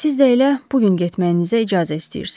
Siz də elə bu gün getməyinizə icazə istəyirsiz.